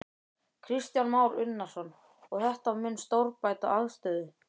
Kristján Már Unnarsson: Og þetta mun stórbæta aðstöðu?